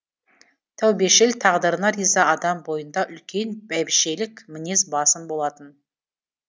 тәубешіл тағдырына риза адам бойында үлкен бәйбішелік мінез басым болатын